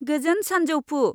गोजोन सान्जौफु।